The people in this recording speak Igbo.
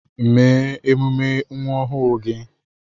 Mee emume nwa ọhụụ gị